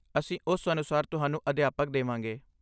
ਅਸੀਂ ਉਸ ਅਨੁਸਾਰ ਤੁਹਾਨੂੰ ਅਧਿਆਪਕ ਦੇਵਾਂਗੇ।